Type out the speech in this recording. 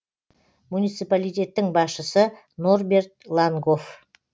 муниципалитеттің басшысы норберт лангоф